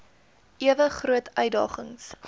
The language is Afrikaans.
ewe groot uitdagings